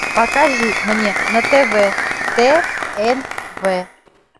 покажи мне на тв тнв